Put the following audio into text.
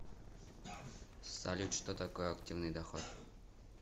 салют что такое активный доход